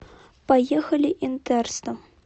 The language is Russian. поехали интерстом